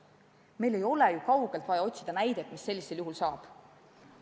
Meil ei ole ju kaugelt vaja otsida näidet, mis sellisel juhul saab.